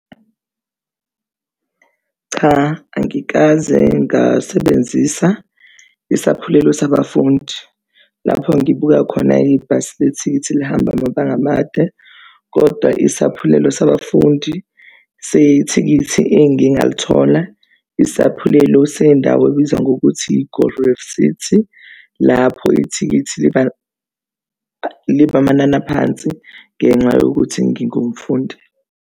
Cha, angikaze ngasebenzisa isaphulelo sabafundi lapho ngibuka khona ibhasi elethikithi lihambe amabanga amade kodwa isaphulelo sabafundi sethikithi engiye ngalithola isaphulelo sendawo ebizwa ngokuthi i-Gold Reef City, lapho ithikithi liba amanani aphansi ngenxa yokuthi ngingumfundi.